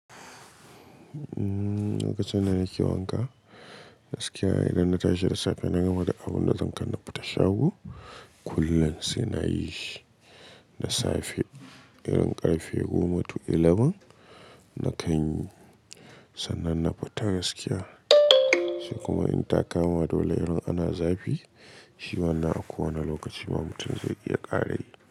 Umm, lokacin da nake wanka, gaskiya idan na tashi da safe na gama da abun da zan kanna fata shago, kullum sai na yi shi. Da safe irin ƙarfe goma tu 11 na kan sananna fita gaskiya. Sai kuma in ta kama dole irin ana zafi, shi wannan a kowane lokaci ma mutum zai iya ƙara yi.